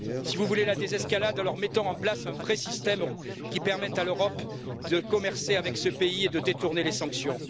Si vous voulez la désescalade, alors mettons en place un vrai système qui permette à l'Europe de commercer avec ce pays et de détourner les sanctions.